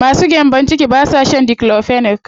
Masu gyambo ciki ba sa shan diclofenac.